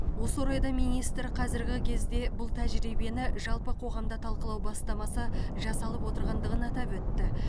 осы орайда министр қазіргі кезде бұл тәжірибені жалпы қоғамда талқылау бастамасы жасалып отырғандығын атап өтті